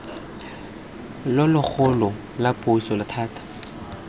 lo logolo la puso thata